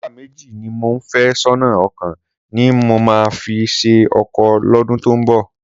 Sọ́jà méjì ni mò ń fẹ́ sọ́nà, ọ̀kan ni mo máa fi ṣe ọkọ lọ́dún tó ń bọ̀.